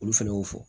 Olu fɛnɛ y'o fɔ